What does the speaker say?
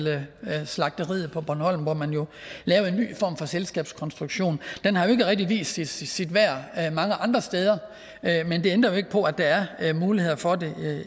slagteriet på bornholm hvor man jo lavede en ny form for selskabskonstruktion den har jeg ikke rigtig vist sit sit værd mange andre steder men det ændrer ikke på at der er muligheder for